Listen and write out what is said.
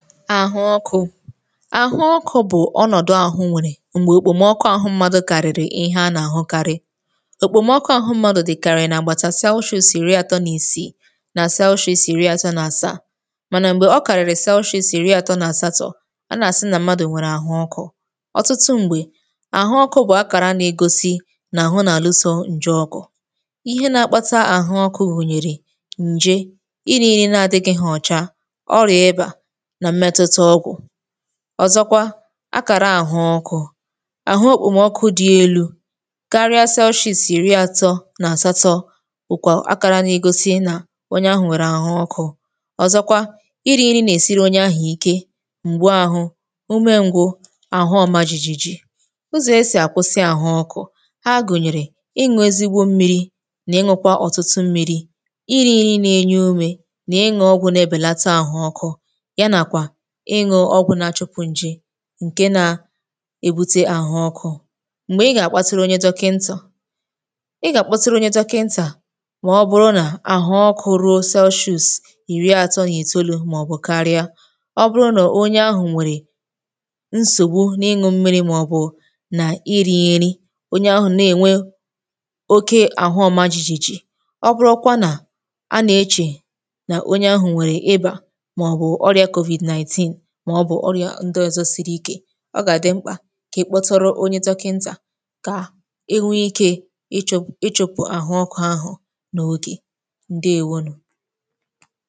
ahụ ọkụ̇ ahụ ọkụ̇ bụ̀ ọnọdụ ahụ nwere mgbe okpomọkụ ọhụ̇ mmadụ kàrịrị ihe a n’àhụ karị okpomọkụ ọhụ̇ mmadụ̇ dịkàrị na agbàtàsachọ isiri àtọ n’isi na sicho isiri àtọ na-asa mànà m̀gbè ọkàrịrị sichi si richa àtọ na satọ̀ ọ na-asi na mmadụ nwere ahụ ọkụ̇ ọtụtụ m̀gbè ahụ ọkụ̇ bụ̀ akàra na-egosi na ahụ n’àluso nje ọkụ̇ ihe n’akpata ahụ ọkụ̇ wùnyèrè nje ịnịrị nà adịgị ghọ̀cha ọrịà ebe à ọ̀zọkwa akàra àhụ ọkụ̇ àhụ okpomọkụ dị elu̇ karịa cellshiz iri atọ nà àsatọ̇ okwà akara n’igosi nà onye ahụ̀ nwèrè àhụ ọkụ̇ ọ̀zọkwa iri nà-esiri onye ahụ̀ ike m̀gbu ahụ̇ ume ngwụ àhụ ọma jìjì ụzọ̀ esì àkwụsị àhụ ọkụ̇ ha gụ̀nyèrè ịṅụ̇ ezigbo mmiri nà ịṅụkwa ọ̀tụtụ mmiri iri na-enye umė nà ịṅụ ọgwụ na-ebèlata àhụ ọkụ̇ ịṅụ ọgwụ̇ na-achụkụ̇ ṅ̀ji ǹke na-èbute àhụ ọkụ̇ m̀gbè ị gà-àkpatiara onye dọkịntà ị gà-àkpatiara onye dọkịntà mà ọ bụrụ nà àhụ ọkụ̇ ruo zieusì ìri àtọ nà ètolu̇ màọ̀bụ̀ karịa ọ bụrụ nà onye ahụ̀ nwèrè nsògbu n’ịṅụ̇ mmiri̇ màọ̀bụ̀ nà iri̇ nri onye ahụ̀ na-ènwe oke àhụ ọ̀ma jìjì ọ bụrọkwa nà a nà-echè nà onye ahụ̀ nwèrè ịbà ọ gà-àdị mkpà kà ị kpọtọrọ onye dọkị̇ndà kà ị nwẹ ike ị chọ̀pụ̀ àhụ ọkụ̇ ahụ̀ n’ogè ǹdewonu